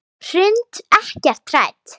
Hrund: Ekkert hrædd?